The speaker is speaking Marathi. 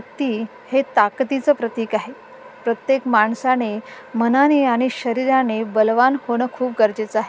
हत्ती हे ताकदीच प्रतीक आहे प्रत्येक माणसाने मनाने आणि शरीराने बलवान होणं खूप गरजेच आहे.